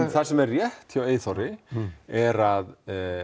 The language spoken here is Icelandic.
það sem er rétt hjá Eyþóri er að